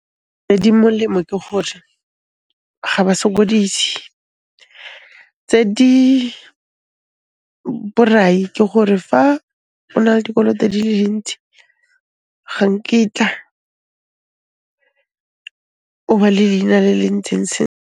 Tse di molemo ke gore ga ba sokodise, tse di borai ke gore fa o na le dikoloto di le dintsi, ga nkitla o ba le leina le le ntseng .